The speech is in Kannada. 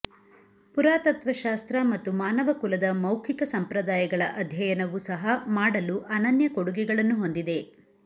ಪುರಾತತ್ತ್ವ ಶಾಸ್ತ್ರ ಮತ್ತು ಮಾನವಕುಲದ ಮೌಖಿಕ ಸಂಪ್ರದಾಯಗಳ ಅಧ್ಯಯನವು ಸಹ ಮಾಡಲು ಅನನ್ಯ ಕೊಡುಗೆಗಳನ್ನು ಹೊಂದಿದೆ